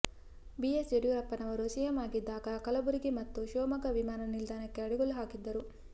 BS ಯಡಿಯೂರಪ್ಪನವರು CM ಆಗಿದ್ದಾಗ ಕಲಬುರಗಿ ಮತ್ತು ಶಿವಮೊಗ್ಗ ವಿಮಾನ ನಿಲ್ದಾಣಕ್ಕೆ ಅಡಿಗಲ್ಲು ಹಾಕಿದ್ದರು